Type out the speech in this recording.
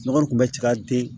Nɔgɔ kun bɛ ci ka den